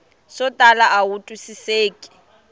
swo tala a wu twisiseki